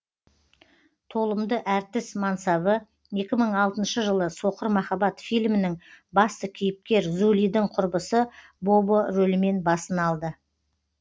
толымды әртіс мансабы екі мың алтыншы жылы соқыр махаббат филімінің басты кейіпкер зулидің құрбысы бобо рөлімен басын алды